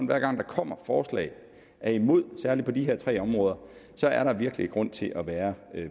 hver gang der kommer forslag er imod særlig på de her tre områder så er der virkelig grund til at være